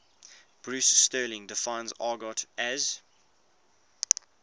bruce sterling defines argot as